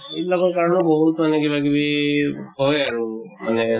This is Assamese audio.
এই বিলাকৰ কাৰণে বহুত মানে কিবা কিবি হয় আৰু। মানে